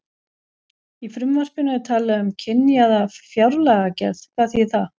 Í frumvarpinu er talað um kynjaða fjárlagagerð, hvað þýðir það?